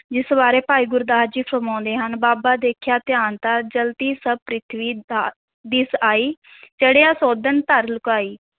ਜਿਸ ਬਾਰੇ ਭਾਈ ਗੁਰਦਾਸ ਜੀ ਫੁਰਮਾਉਂਦੇ ਹਨ, ਬਾਬਾ ਦੇਖਿਆ ਧਿਆਨ ਧਰਿ, ਜਲਤੀ ਸਭਿ ਪ੍ਰਿਥਵੀ ਦ~ ਦਿਸਿ ਆਈ ਚੜਿਆ ਸੋਧਣ ਧਰ ਲੁਕਾਈ।